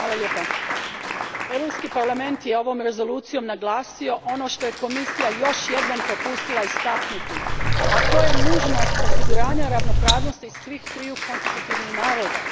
Gospođo predsjednice, Europski parlament je ovom rezolucijom naglasio ono što je Komisija još jednom propustila istaknuti, a to je nužnost osiguranja ravnopravnosti svih triju konstitutivnih naroda.